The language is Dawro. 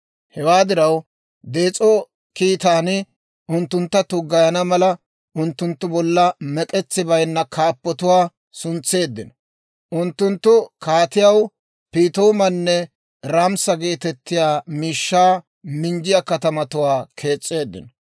Hewaa diraw, dees'o kiitaan unttuntta tuggayana mala, unttunttu bolla mek'etsi baynna kaappotuwaa suntseeddino. Unttunttu kaatiyaw Piitoomanne Ramissa geetettiyaa miishshaa minjjiyaa katamatuwaa kees's'eeddino.